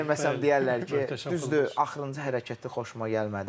Deməsəm deyərlər ki, düzdür, axırıncı hərəkəti xoşuma gəlmədi.